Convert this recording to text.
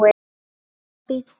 Og bíddu.